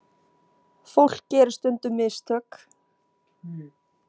Fólk gerir stundum mistök.